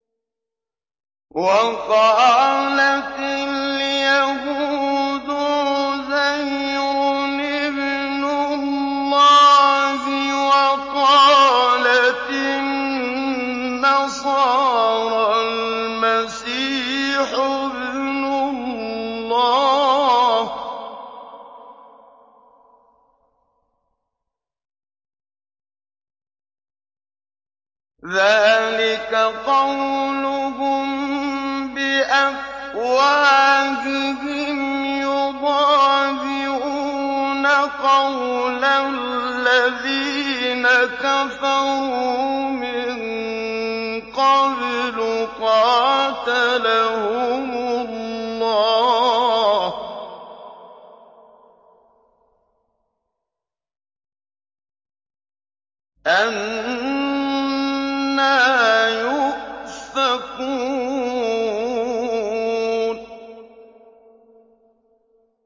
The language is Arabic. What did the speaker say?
وَقَالَتِ الْيَهُودُ عُزَيْرٌ ابْنُ اللَّهِ وَقَالَتِ النَّصَارَى الْمَسِيحُ ابْنُ اللَّهِ ۖ ذَٰلِكَ قَوْلُهُم بِأَفْوَاهِهِمْ ۖ يُضَاهِئُونَ قَوْلَ الَّذِينَ كَفَرُوا مِن قَبْلُ ۚ قَاتَلَهُمُ اللَّهُ ۚ أَنَّىٰ يُؤْفَكُونَ